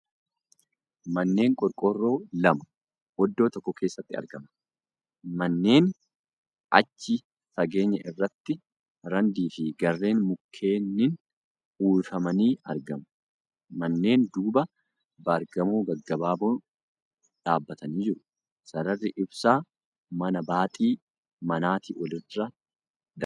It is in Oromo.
Manneen qorqoorroo lama oddoo tokko keessatti argama. Manneenii achi fageenya irratti randii fi gaarreen mukkeenniin uwwifamanii argamu. Manneen duuba baargamoo gaggabaaboon dhaabbatanii jiru. Sararri ibsaa mana baaxii manaatii olirra darba.